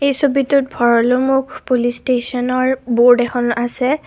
এই ছবিটোত ভৰলুমুখ পুলিচ ষ্টেচনৰ বৰ্ড এখন আছে।